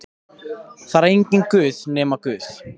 Það er enginn Guð nema Guð.